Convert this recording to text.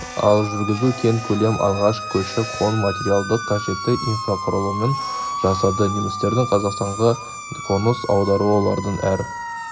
ал жүргізу кең көлем алған көші-қон материалдық қажетті инфрақұрылымын жасады немістердің қазақстанға қоныс аударуы олардың әр